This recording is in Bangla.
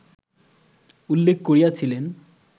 উল্লেখ করিয়াছিলেন